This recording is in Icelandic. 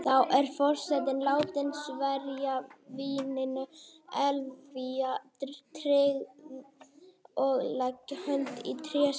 Þá er forseti látin sverja víninu eilífa tryggð og leggja hönd í tréskál.